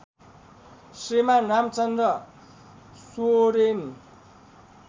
Shriman Ramchandra Soren